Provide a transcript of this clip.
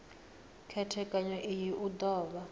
khethekanyo iyi u do vha